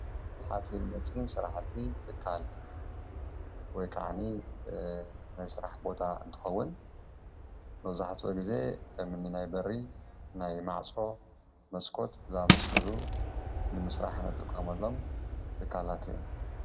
ሓፂን መፂን ስራሕቲ ትካል ወይ ከዓ ናይ ስራሕ ቦታ እንትኸውን መብዛሕትኡ ግዘ ከምኒ ናይ በሪ፣ ናይ ማዕፆ፣ መስኮት ዝአመሰሉ ንምስራሕ እንጥቀመሎም ትካላት እዮም።